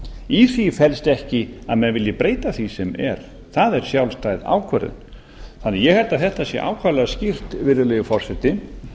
í því felst ekki að menn vilji breyta því sem er það er sjálfstæð ákvörðun ég held því að þetta sé ákaflega skýrt virðulegi forseti